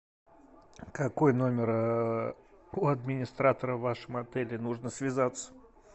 какой номер у администратора в вашем отеле нужно связаться